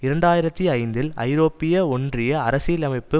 இரண்டு ஆயிரத்தி ஐந்தில் ஐரோப்பிய ஒன்றிய அரசியலமைப்பு